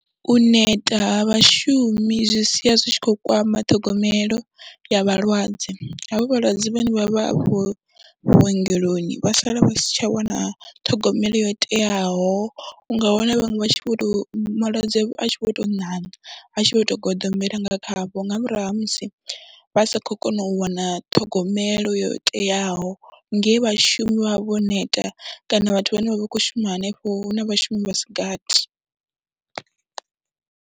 U neta ha vhashumi zwi sia zwi tshi khou kwama ṱhogomelo ya vhalwadze, havha vhalwadze vhane vha vha hafho vhuongeloni vha sala vha si tsha wana ṱhogomelo yo teaho, u nga wana vhaṅwe vha tshi vho tou, malwadze a tshi vho tou ṋaṋa, a tshi vho tou goḓombela nga khavho nga murahu ha musi vha sa khou kona u wana ṱhogomelo yo teaho nge vhashumi vha vha vho neta kana vhathu vhane vha vha khou shuma hanefho hu na vhashumi vha si gathi.